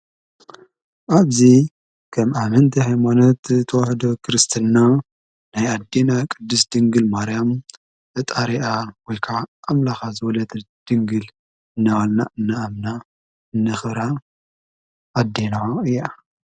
ኣብዙ ከም ኣመንቲ ሕይሞነት ተወህዶ ክርስትና ናይ ኣዲና ቅድሥ ድንግል ማርያም ፈጣሪኣ ወካዓ ኣምላኻ ዘወለት ድንግል እነዋልና እናኣምና እነኽራ ኣዲና እያ።